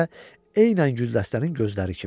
Gözləri də eynən güldəstənin gözləri kimi.